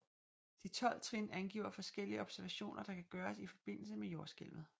De tolv trin angiver forskellige observationer der kan gøres i forbindelse med jordskælvet